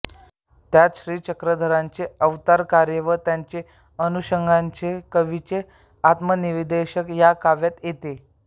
त्यांत श्रीचक्रधरांचे अवतारकार्य व त्याच्या अनुषंगाने कवीचे आत्मनिवेदनही या काव्यात येते